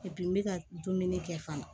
n bɛ ka dumuni kɛ fana